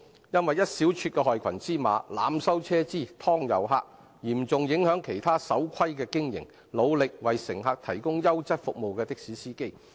一小撮害群之馬濫收車資、"劏遊客"，會嚴重影響其他守規經營、努力為乘客提供優質服務的的士司機。